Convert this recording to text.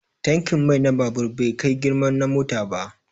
Tankin mai na babur bai kai girman na mota ba